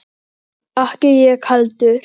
Ekki ég heldur!